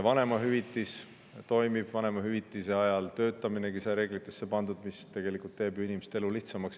Vanemahüvitis toimib, vanemahüvitise ajal töötaminegi sai reeglitesse kirja pandud, see tegelikult teeb ju inimeste elu lihtsamaks.